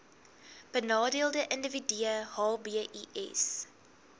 benadeelde individue hbis